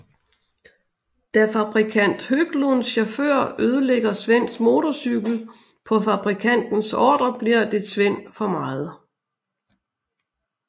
Da fabrikant Höglunds chauffør ødelægger Svens motorcykel på fabrikantens ordre bliver det Sven for meget